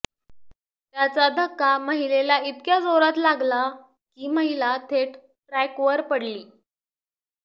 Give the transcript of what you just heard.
त्याचा धक्का महिलेला इतक्या जोरात लागला की महिला थेट ट्रॅकवर पडली